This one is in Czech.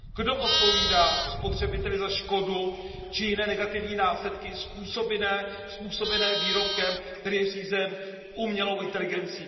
Kdo zodpovídá spotřebiteli za škodu či jiné negativní následky způsobené výrobkem, který je řízen umělou inteligencí?